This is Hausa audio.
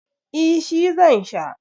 eh shi zan Sha